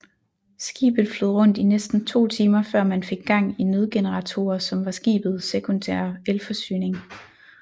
Skibet flød rundt i næsten to timer før man fik gang i nødgeneratorer som var skibet sekundære elforsyning